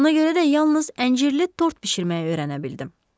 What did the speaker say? Ona görə də yalnız əncirli tort bişirməyi öyrənə bildim.